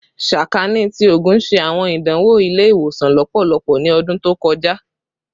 Sakaani ti Oogun ṣe awọn idanwo ile-iwosan lọpọlọpọ ni ọdun to kọja